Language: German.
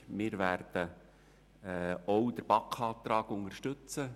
Wir werden auch den BaK-Antrag unterstützen.